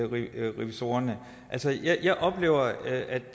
rigsrevisorerne altså jeg oplever at